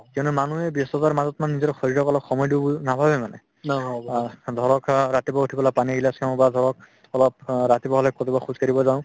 কিয়নো মানুহে ব্যস্ততাৰ মাজত মানে নিজৰ শৰীৰক অলপ সময় দিও বুলি নাভাবে মানে অহ্ ধৰক অহ্ ৰাতিপুৱা উঠি বোলে পানী গিলাচ খাও বা ধৰক অলপ অ ৰাতিপুৱা হলে কেতিয়াবা খোজকাঢ়িব যাও